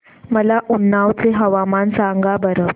मला उन्नाव चे हवामान सांगा बरं